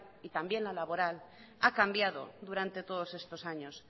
y también la laboral ha cambiado durante todos estos años